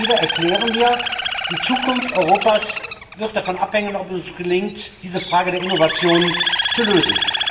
Immer wieder erklären wir, die Zukunft Europas wird davon abhängen, ob es gelingt, diese Frage der Innovation zu lösen.